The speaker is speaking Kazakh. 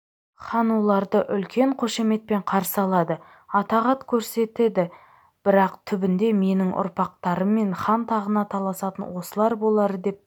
хан оларды үлкен қошаметпен қарсы алады атағат көрсетеді бірақ түбінде менің ұрпақтарыммен хан тағына таласатын осылар болар деп